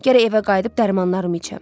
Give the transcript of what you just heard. Gərək evə qayıdıb dərmanlarımı içəm.